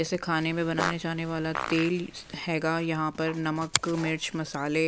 जैसे खाने में बनाने जाने वाला तेल हैगा यहाँ पर नमक मिर्च मसाले--